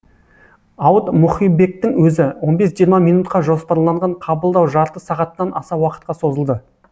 ауыт мұхибектің өзі он бес жиырма минутқа жоспарланған қабылдау жарты сағаттан аса уақытқа созылды